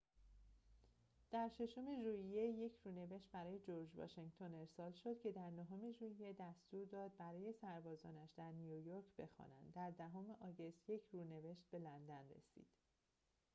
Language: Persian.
در ششم ژوئیه یک رونوشت برای جرج واشنگتن ارسال شد که در نهم ژوئیه دستور داد برای سربازانش در نیویورک بخوانند در دهم آگوست یک رونوشت به لندن رسید